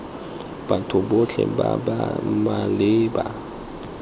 batho botlhe ba ba maleba